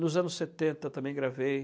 Nos anos setenta eu também gravei.